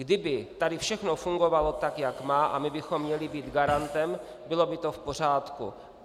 Kdyby tady všechno fungovalo tak, jak má, a my bychom měli být garantem, bylo by to v pořádku.